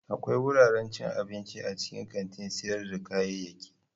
Akwai wuraren cin abinci a cikin kantin sayar da kayayyaki.